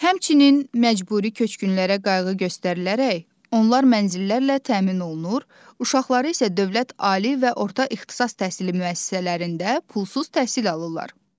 Həmçinin məcburi köçkünlərə qayğı göstərilərək onlar mənzillərlə təmin olunur, uşaqları isə dövlət ali və orta ixtisas təhsili müəssisələrində pulsuz təhsil alırlar.